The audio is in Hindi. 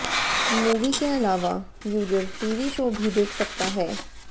मूवी के अलावा यूजर टीवी शो भी देख सकता है